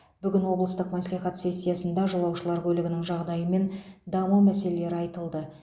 бүгін облыстық мәслихат сессиясында жолаушылар көлігінің жағдайы мен даму мәселелері айтылды